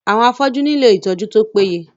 Àwọn afọ́jú nílò ìtọjú tó péye.